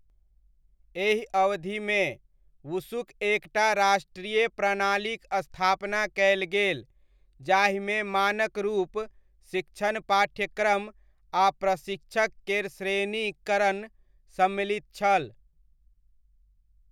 एहि अवधिमे, वुशुक एक टा राष्ट्रीय प्रणालीक स्थापना कयल गेल जाहिमे मानक रूप, शिक्षण पाठ्यक्रम आ प्रशिक्षक केर श्रेणीकरण सम्मलित छल।